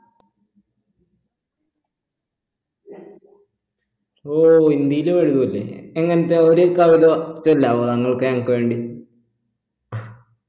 ഹോ ഹിന്ദിയിലും എഴുതുവല്ലേ എങ്ങനത്തെ ഒര് കവിത ചൊല്ലാവോ താങ്കൾക്ക് എനിക്ക് വേണ്ടി